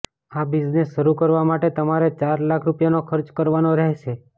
આ બિઝનેસ શરૂ કરવા માટે તમારે ચાર લાખ રૂપિયાનો ખર્ચ કરવાનો રહેશે